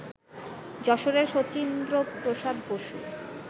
যশোরের শচীন্দ্রপ্রসাদ বসু